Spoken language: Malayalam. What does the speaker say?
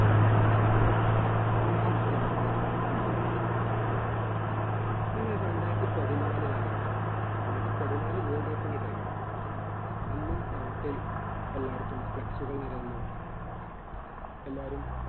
അങ്ങനെയിരിക്കയാണ് ഇത് സംഭവിക്കുന്നത് അങ്ങനെയൊരു രണ്ടായിരത്തി പതിനാല് കാലഘട്ടം രണ്ടായിരത്തി പതിനാല് world cup ന്റെ time ആയി അന്നും നാട്ടിൽ എല്ലായിടത്തും flex കൾ നിരന്നു എല്ലാരും